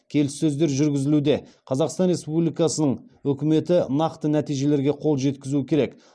келіссөздер жүргізілуде қазақстан республикасының үкіметі нақты нәтижелерге қол жеткізуі керек